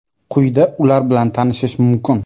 Quyida ular bilan tanishish mumkin.